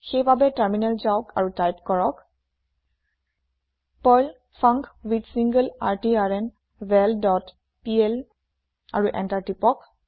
সেই বাবে টাৰমিনেল যাওক আৰু টাইপ কৰক পাৰ্ল ফাংকুইথছিংলাৰট্ৰ্নভেল ডট পিএল আৰু এন্টাৰ প্ৰেছ কৰক